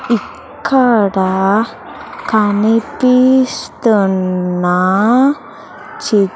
ఇక్కడ కనిపిస్తున్న చి--